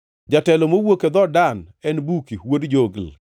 jatelo mowuok e dhood Dan, en Buki wuod Jogli;